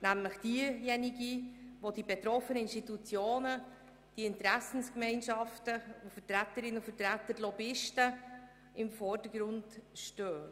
Es ist diejenige, bei der die betroffenen Institutionen, die Interessensgemeinschaften und ihre Vertreterinnen und Vertreter und die Lobbyisten im Vordergrund stehen.